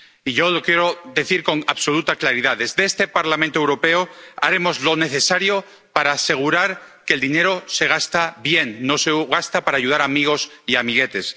Y yo lo quiero decir con absoluta claridad desde este Parlamento Europeo, haremos lo necesario para asegurar que el dinero se gasta bien, no se gasta para ayudar a amigos y amiguetes